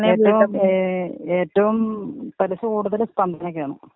ഏറ്റവും ഏ ഏറ്റോം പലിശ കൂടുതല് സ്പന്ദനക്കാണ്.